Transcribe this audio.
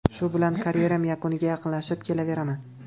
Shu bilan karyeram yakuniga yaqinlashib kelaveraman.